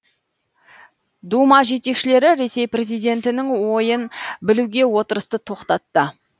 дума жетекшілері ресей президентінің ойын білуге отырысты тоқтатты